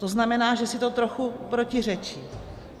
To znamená, že si to trochu protiřečí.